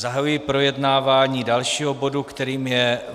Zahajuji projednávání dalšího bodu, kterým je